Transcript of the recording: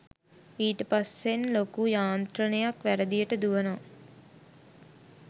ඊට පස්සෙන් ලොකු යාන්ත්‍රණයක් වැරදියට දුවනවා